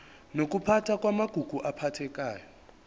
nokuphathwa kwamagugu aphathekayo